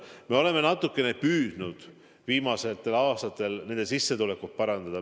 Me oleme natukene püüdnud viimastel aastatel nende sissetulekut parandada.